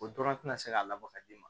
O dɔrɔn tɛ se ka labɔ ka d'i ma